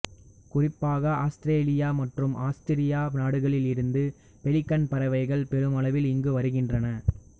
குறிப்பாக ஆஸ்திரேலியா மற்றும் ஆஸ்திரியா நாடுகளில் இருந்து பெலிகன் பறவைகள் பெருமளவில் இங்கு வருகின்றன